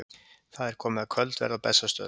Það er komið að kvöldverði á Bessastöðum.